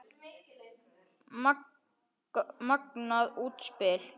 Magnað útspil.